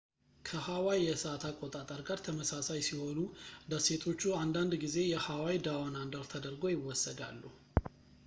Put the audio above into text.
ከhawaii የሰአት አቆጣጠር ጋር ተመሳሳይ ሲሆኑ፣ ደሴቶቹ አንዳንድ ጊዜ የ"hawaii down under ተደርገው ይወሰዳሉ